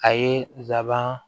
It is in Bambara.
A ye nsaban